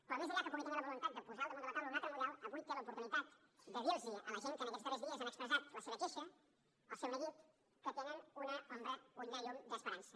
però més enllà que pugui tenir la voluntat de posar al damunt de la taula un altre model avui té l’oportunitat de dir a la gent que en aquests darrers dies han expressat la seva queixa el seu neguit que tenen una llum d’esperança